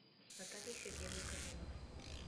натальи сергеевны корниловой